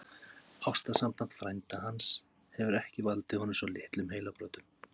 Ástarsamband frænda hans hefur ekki valdið honum svo litlum heilabrotum!